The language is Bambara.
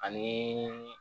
Ani